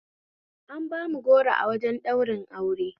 An bamu goro a wajen ɗaurin aure